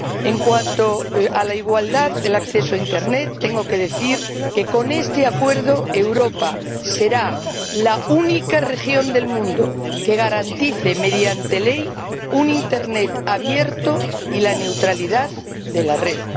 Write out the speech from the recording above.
En cuanto a la igualdad en el acceso a internet tengo que decir que, con este acuerdo, Europa será la única región del mundo que garantice, mediante ley, un internet abierto y la neutralidad de la red.